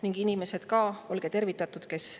Ning ka inimesed – olge tervitatud!